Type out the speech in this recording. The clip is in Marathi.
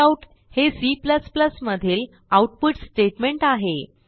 काउट हे C मधील आउटपुट स्टेटमेंट आहे